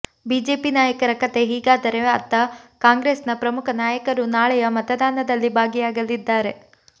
BJP ನಾಯಕರ ಕಥೆ ಹೀಗಾದರೆ ಅತ್ತ ಕಾಂಗ್ರೆಸ್ ನ ಪ್ರಮುಖ ನಾಯಕರೂ ನಾಳೆಯ ಮತದಾನದಲ್ಲಿ ಭಾಗಿಯಾಗಲಿದ್ದಾರೆ